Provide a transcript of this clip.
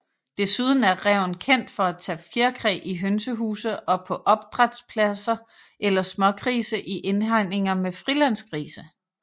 Desuden er ræven kendt for at tage fjerkræ i hønsehuse og på opdrætspladser eller smågrise i indhegninger med frilandsgrise